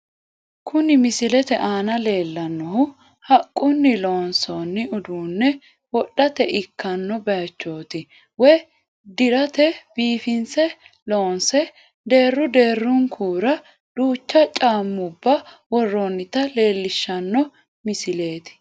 Kuni misilete aana leellannohu haqqunni loonsoonni uduunne wodhate ikkanno baaychooti woy diraati biifinse loonse deerru deerrunkura duucha caammubba worroonnita leellishshanno misi🇪🇹